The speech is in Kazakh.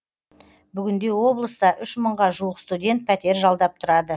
бүгінде облыста үш мыңға жуық студент пәтер жалдап тұрады